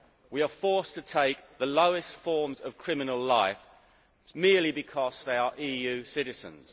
We are forced to take the lowest forms of criminal life merely because they are EU citizens.